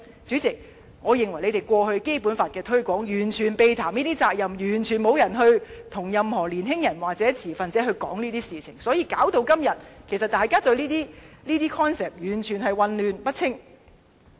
主席，我認為政府過去就《基本法》的推廣，完全避談這些責任，完全沒有與任何年輕人或持份者討論這些事情，因此來到今天，大家對這些概念其實完全混淆不清。